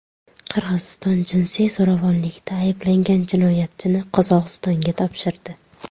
Qirg‘iziston jinsiy zo‘ravonlikda ayblangan jinoyatchini Qozog‘istonga topshirdi.